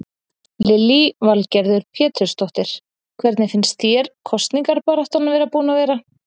Lillý Valgerður Pétursdóttir: Hvernig finnst þér kosningabaráttan búin að vera?